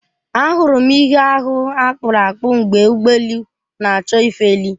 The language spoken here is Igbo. Ahụrụ m ihe ahụ akpụrụ akpụ mgbe ụgbọ elu na-achọ ifeli.